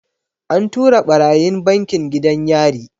An tura ɓarayin bankin gidan yari.